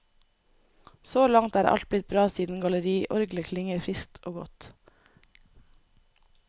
Så langt er alt blitt bra siden galleriorglet klinger friskt og godt.